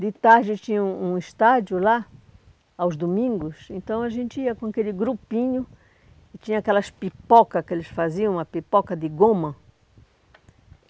De tarde tinha um um estádio lá, aos domingos, então a gente ia com aquele grupinho e tinha aquelas pipoca que eles faziam, uma pipoca de goma.